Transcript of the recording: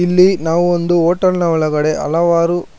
ಇಲ್ಲಿ ನಾವು ಒಂದು ಹೋಟೆಲ್ನ ಒಳಗಡೆ ಹಲವಾರು--